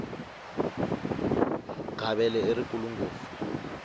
gavele i rikulu ngopfu